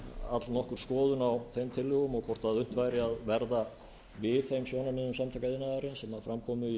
allnokkur skoðun á þeim tillögum og hvort unnt væri að verða við þeim sjónarmiðum samtaka iðnaðarins sem fram kom í